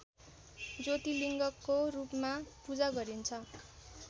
ज्योतिलिङ्गको रूपमा पूजा गरिन्छ